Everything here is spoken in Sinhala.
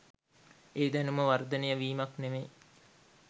ඒ දැනුම වර්ධනය වීමක් නෙවෙයි